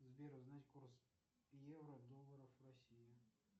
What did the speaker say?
сбер узнать курс евро доллара в россии